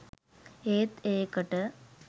ඒත් ඒකට